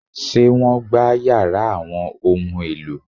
Ṣé wọ́n gbá yàrá àwọn ohun-èlò?